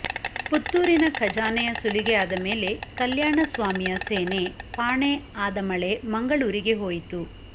ಪುತ್ತೂರಿನ ಖಜಾನೆಯ ಸುಲಿಗೆ ಆದಮೇಲೆ ಕಲ್ಯಾಣ ಸ್ವಾಮಿಯ ಸೇನೆ ಪಾಣೆ ಆದಮಳೆ ಮಂಗಳೂರಿಗೆ ಹೋಯಿತು